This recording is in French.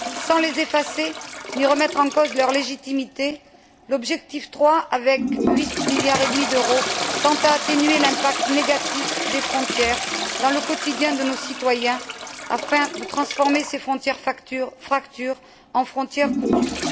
Sans les effacer ni remettre en cause leur légitimité, l'objectif III, avec 8,5 milliards d'euros, tend à atténuer l'impact négatif des frontières dans le quotidien de nos citoyens, afin de transformer ces frontières fractures en frontières coutures.